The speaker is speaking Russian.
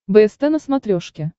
бст на смотрешке